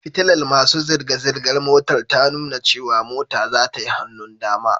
Fitilar masu zirga-zirgar motar ta nuna cewa mota zata yi hannun dama